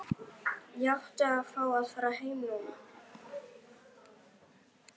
Ég átti að fá að fara heim núna.